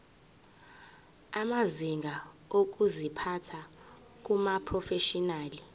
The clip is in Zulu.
amazinga okuziphatha kumaprofeshinali